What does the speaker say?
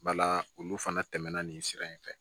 Bala olu fana tɛmɛna nin sira in fɛ